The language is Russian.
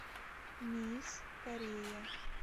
мисс корея